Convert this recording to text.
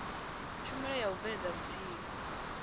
tshumelo ya u bveledza vhutsila